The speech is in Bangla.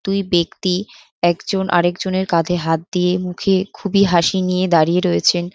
দুই ব্যাক্তি একজন আরেক জনের কাধে হাত দিয়ে মুখে খুবই হাসি নিয়ে দাড়িয়ে রয়েছেন।